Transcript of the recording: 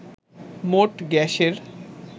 মোট গ্যাসের